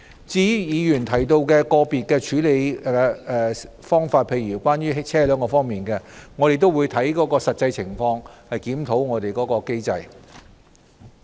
至於議員提到個別處理方法，例如關於車輛方面，我們會按實際情況檢討機制。